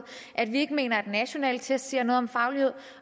at vi ikke mener at nationale tests siger noget om faglighed